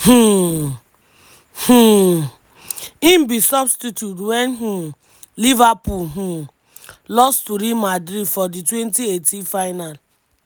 um um im be substitute wen um liverpool um lost to real madrid for di twenty eighteen final.